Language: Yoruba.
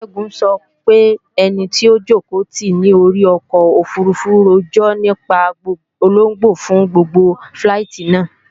Ṣẹ́gun sọ pé ẹni tó jòkó tìí ní orí ọkọ̀ òfurufú rojọ́ nípa ológbò fún gbogbo fíláìtí náà